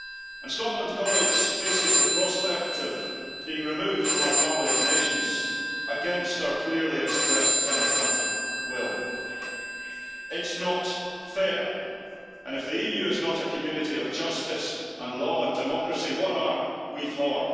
And Scotland faces the prospect of being removed from our family of nations, against our clearly expressed democratic will. It is not fair, and if the EU is not a community of justice, law and democracy, what are we for?